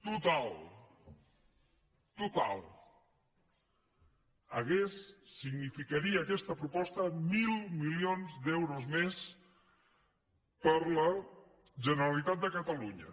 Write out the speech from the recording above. total total significaria aquesta proposta mil milions d’euros més per a la generalitat de catalunya